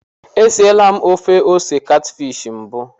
E siela m ofe ose katfishi mbụ.